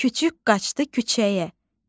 Kiçik qaçdı küçəyə.